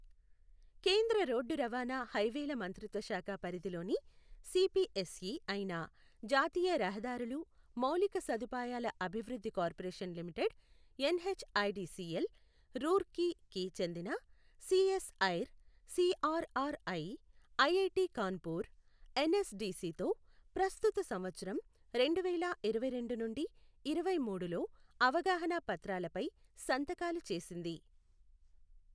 కేంద్ర రోడ్డు రవాణా హైవేల మంత్రిత్వ శాఖ పరిధిలోని సిపిఎస్ఇ అయిన జాతీయ రహదారులు మౌలిక సదుపాయాల అభివృద్ధి corporation limited N H IDCL, రూర్కీకి చెందిన CSIR CRRI, IIT Kanpur, N S డిసితో ప్రస్తుత సంవత్సరం రెండువేల ఇరవైరెండు నుండి ఇరవైమూడులో అవగాహనా పత్రాలపై సంతకాలు చేసింది.